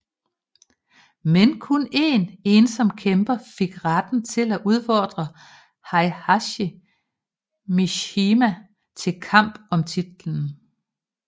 Men kun én ensom kæmper fik retten til at udfordre Heihachi Mishima til kampen om titlen